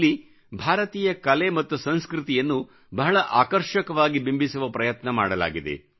ಇಲ್ಲಿ ಭಾರತೀಯ ಕಲೆ ಮತ್ತು ಸಂಸ್ಕೃತಿಯನ್ನು ಬಹಳ ಆಕರ್ಷಕವಾಗಿ ಬಿಂಬಿಸುವ ಪ್ರಯತ್ನ ಮಾಡಲಾಗಿದೆ